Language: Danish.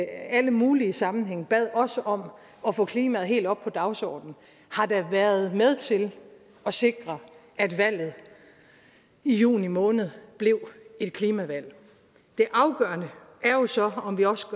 alle mulige sammenhænge bad os om at få klimaet helt op på dagsordenen har da været med til at sikre at valget i juni måned blev et klimavalg det afgørende er jo så om vi også